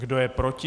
Kdo je proti?